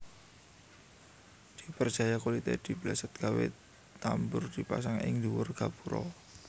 Diperjaya kulité dibesèt digawé tambur dipasang ing dhuwur gapura